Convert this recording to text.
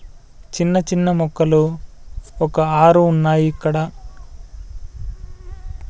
చిన్న చిన్న మొక్కలు ఒక ఆరు ఉన్నాయి ఇక్కడ